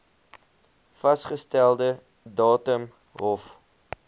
vasgestelde datum hof